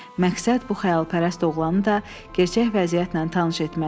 Məqsəd bu xəyalpərəst oğlanı da gerçək vəziyyətlə tanış etmək idi.